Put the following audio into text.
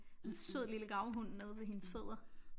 En sød lille gravhund nede ved hendes fødder